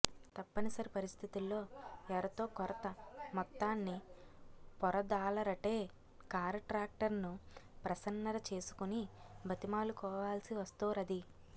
తప్పనిసరి పరిస్థితుల్లో ఎరతోకొరత మొత్తాన్ని పొరదాలరటే కారట్రాక్టర్ను ప్రసన్నర చేసుకుని బతిమాలుకోవాల్సి వస్తోరది